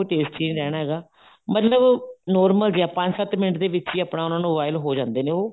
taste ਹੀ ਨੀ ਰਹਿਣਾ ਹੈਗਾ ਮਤਲਬ normal ਜੇ ਪੰਜ ਸੱਤ ਮਿੰਟ ਦੇ ਵਿੱਚ ਹੀ ਆਪਣਾ ਉਹਨਾ ਨੂੰ boil ਹੋ ਜਾਂਦੇ ਨੇ ਉਹ